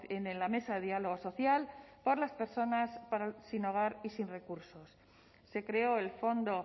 en la mesa de diálogo social para las personas sin hogar y sin recursos se creó el fondo